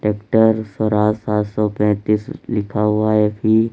Tractor Swaraj सात सौ पैंतीस लिखा हुआ है एफ_ई ।